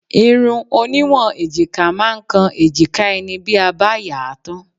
Irun oníwọ̀n èjìká máa ń kan èjìká ẹni bí a bá yà á tán.